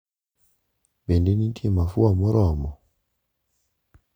Bende nitie mafua moromo?